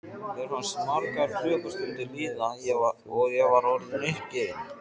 Mér fannst margar klukkustundir líða og ég var orðin uppgefin.